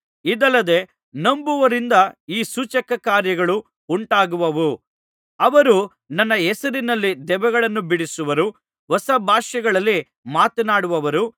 ಇದಲ್ಲದೆ ನಂಬುವವರಿಂದ ಈ ಸೂಚಕಕಾರ್ಯಗಳು ಉಂಟಾಗುವವು ಅವರು ನನ್ನ ಹೆಸರಿನಲ್ಲಿ ದೆವ್ವಗಳನ್ನು ಬಿಡಿಸುವರು ಹೊಸ ಭಾಷೆಗಳಲ್ಲಿ ಮಾತನಾಡುವರು